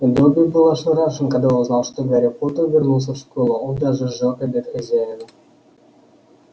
добби был ошарашен когда узнал что гарри поттер вернулся в школу он даже сжёг обед хозяина